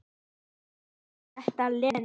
En sagði svo þetta, Lena.